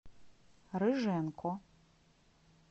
рыженко